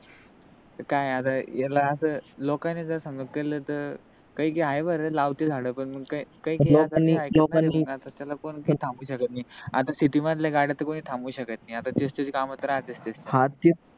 काय अस येला अस लोकांनी जस समजल त काय कि आहे बर लावते झाड पण त्याला कोणी थांबवू शकत नाही आता city मधल्या गाड्या त कोणी थांबवू शकत नाही आता तेथली काम तर असच दिसतात